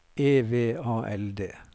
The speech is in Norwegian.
E V A L D